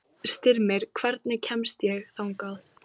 Styrmir, hvernig kemst ég þangað?